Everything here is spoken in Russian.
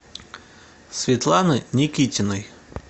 светланы никитиной